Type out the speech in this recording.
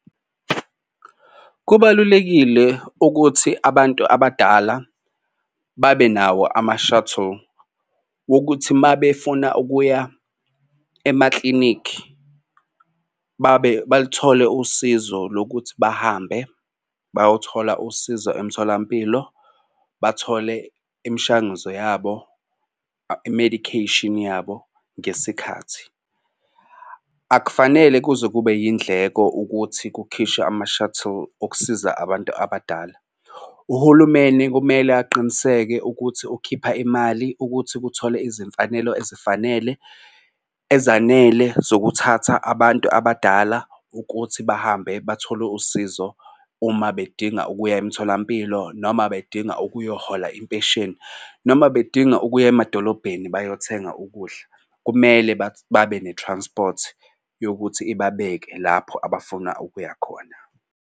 Kubalulekile ukuthi abantu abadala babe nawo ama-shuttle wokuthi uma befuna ukuya emaklinikhi babe baluthole usizo lokuthi bahambe bayothola usizo emtholampilo. Bathole imishanguzo yabo i-medication yabo ngesikhathi. Akufanele kuze kube yindleko ukuthi kukhishwe ama-shuttle okusiza abantu abadala. Uhulumeni kumele aqiniseke ukuthi ukhipha imali ukuthi kuthole izimfanelo ezifanele ezanele zokuthatha abantu abadala ukuthi bahambe bathole usizo uma bedinga ukuya emtholampilo noma bedinga ukuyohhola impesheni noma bedinga ukuya emadolobheni bayothenga ukudla. Kumele babe ne-transport yokuthi ibabeke lapho abafuna ukuyakhona.